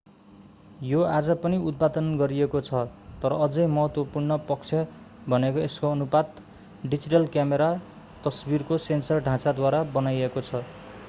यो आज पनि उत्पादन गरिएको छ तर अझै महत्त्वपूर्ण पक्ष भनेको यसको अनुपात डिजिटल क्यामेरा तस्वीरको सेन्सर ढाँचाद्वारा बनाएको छ